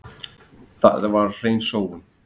Það var hrein sóun.